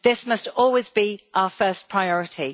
This must always be our first priority.